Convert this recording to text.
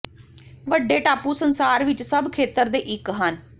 ਵੱਡੇ ਟਾਪੂ ਸੰਸਾਰ ਵਿੱਚ ਸਭ ਖੇਤਰ ਦੇ ਇੱਕ ਹਨ